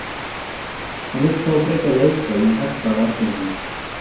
Hann vill þó frekar leika í hjarta varnarinnar.